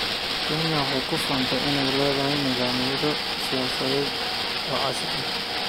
Kenya waxay ku faantaa inay leedahay nidaamyo siyaasadeed oo casri ah.